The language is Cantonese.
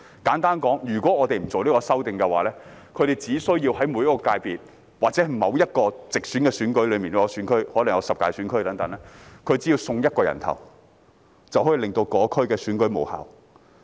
簡單說，如果我們不作出這項修訂，他們只需要在每個界別或某項直選選舉中的某個選區——可能有十大選區——"送一個人頭"，便可以令該區的選舉無效。